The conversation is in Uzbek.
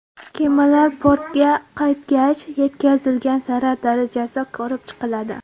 Kemalar portga qaytgach, yetkazilgan zarar darajasi ko‘rib chiqiladi.